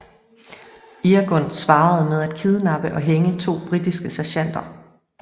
Irgun svarede med at kidnappe og hænge to britiske sergeanter